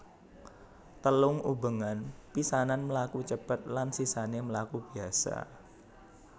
Telung ubengan pisanan mlaku cepet lan sisané mlaku biasa